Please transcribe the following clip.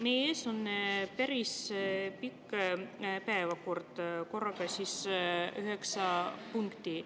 Meie ees on päris pikk päevakord, korraga üheksa punkti.